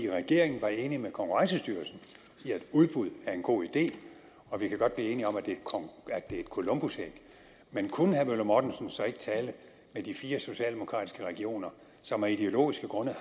regeringen var enig med konkurrencestyrelsen i at udbud var en god idé og vi kan godt blive enige om at det er et columbusæg men kunne herre møller mortensen så ikke tale med de fire socialdemokratiske regioner som af ideologiske grunde